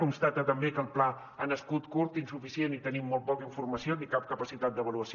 constata també que el pla ha nascut curt insuficient i tenim molt poca informació ni cap capacitat d’avaluació